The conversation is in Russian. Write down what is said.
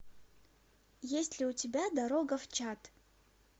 есть ли у тебя дорога в чат